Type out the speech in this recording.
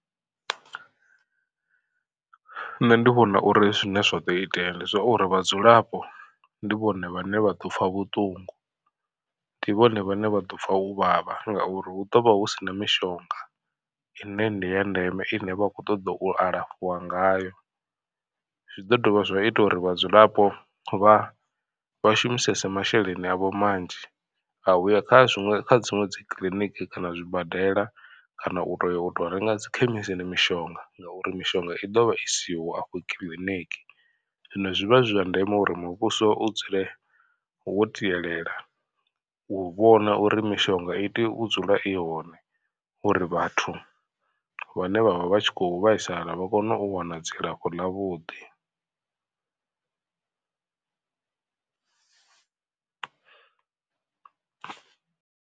Nṋe ndi vhona uri zwine zwa ḓo itea ndi zwauri vhadzulapo ndi vhone vhane vha ḓo pfha vhuṱungu. Ndi vhone vhane vha ḓo pfha u vhavha ngauri hu ḓovha hu sina mishonga ine ndi ya ndeme ine vha khou ṱoḓa u alafhiwa ngayo. Zwi ḓo dovha zwa ita uri vhadzulapo vha vha shumisese masheleni avho manzhi a uya kha zwiṅwe kha dziṅwe dzi kiḽiniki kana zwibadela kana u toya u to renga dzi khemisini mishonga. Ngauri mishonga i ḓovha i siho afho kiḽiniki zwino zwi vha zwi zwa ndeme uri muvhuso u dzule wo tielela u vhona uri mishonga i tea u dzula i hone uri vhathu vhane vhavha vhatshi kho vhaisala vha kone u wana dzilafho ḽa vhuḓi.